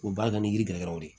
K'u barika ni yiri gɛrɛgɛrɛw de ye